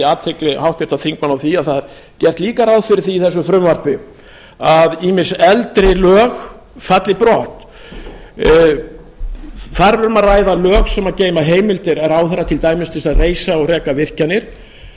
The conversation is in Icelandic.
athygli háttvirtra þingmanna á því að það er gert líka ráð fyrir því í þessu frumvarpi að ýmis eldri lög falli brott þar er um að ræða lög sem geyma heimildir ráðherra til dæmis til þess að reisa og reka virkjanir